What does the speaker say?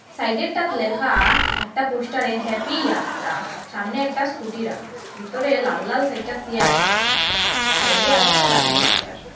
সাইডেরটাত লেখা একটা পোস্টারে হ্যাপি ইয়াত্রা সামনে একটা স্কুটি রাখা ভিতরে লাল লাল চাইরটা চেয়ার দেখা যার সাইডে আর একটা বাইক দেখা যার।